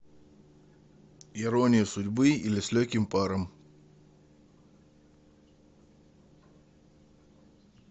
ирония судьбы или с легким паром